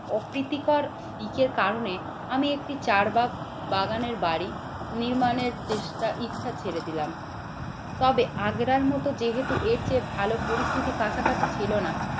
ও প্রীতিকর দিকের কারণে আমি একটি চার্বাক বাগানের বাড়ি নির্মাণের চেষ্টা ইচ্ছা ছেড়ে দিলাম। তবে আগ্রার মতো যেহেতু এর চেয়ে ভালো পরিস্থিতি কাছাকাছি ছিল না